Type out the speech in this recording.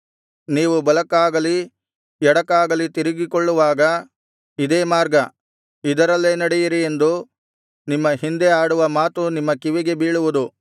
ನೀವು ಬಲಕ್ಕಾಗಲಿ ಎಡಕ್ಕಾಗಲಿ ತಿರುಗಿಕೊಳ್ಳುವಾಗ ಇದೇ ಮಾರ್ಗ ಇದರಲ್ಲೇ ನಡೆಯಿರಿ ಎಂದು ನಿಮ್ಮ ಹಿಂದೆ ಆಡುವ ಮಾತು ನಿಮ್ಮ ಕಿವಿಗೆ ಬೀಳುವುದು